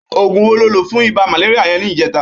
Ógún wó ló lo fún ibà màlériá yèn nijètá?